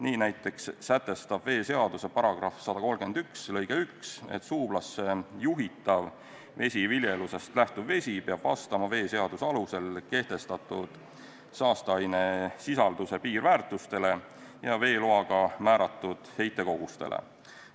Nii näiteks sätestab veeseaduse § 131 lõige 1, et suublasse juhitav vesiviljelusest lähtuv vesi peab vastama veeseaduse alusel kehtestatud saasteainesisalduse piirväärtustele ja veeloaga määratud heitkogustele.